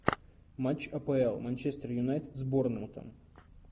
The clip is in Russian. матч апл манчестер юнайтед с борнмутом